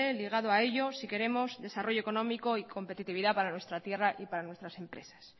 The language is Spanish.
ligado a ello si queremos desarrollo económico y competitividad para nuestra tierra y para nuestras empresas